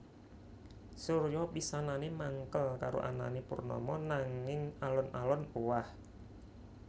Surya pisanané mangkel karo anané Purnama nanging alon alon owah